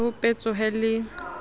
ho be ho petsohe le